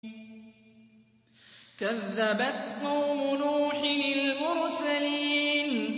كَذَّبَتْ قَوْمُ نُوحٍ الْمُرْسَلِينَ